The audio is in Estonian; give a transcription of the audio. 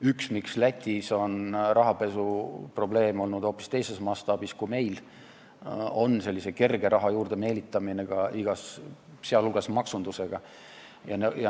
Üks põhjusi, miks Lätis on rahapesuprobleem olnud hoopis teises mastaabis kui meil, on kerge raha juurdemeelitamine igas mõttes, sh maksundusega.